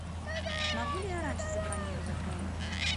могу ли я раньше забронировать номер